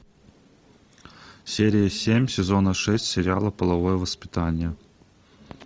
серия семь сезона шесть сериала половое воспитание